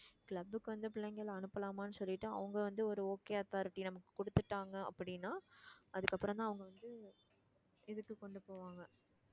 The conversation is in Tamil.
club க்கு வந்த பிள்ளைங்களை அனுப்பலாமான்னு சொல்லிட்டு அவங்க வந்து ஒரு okay authority நமக்கு கொடுத்துட்டாங்க அப்படின்னா அதுக்கு அப்புறம்தான் அவங்க வந்து இதுக்கு கொண்டு போவாங்க